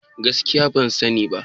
Gaskiya ban sani ba.